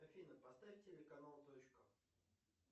афина поставь телеканал точка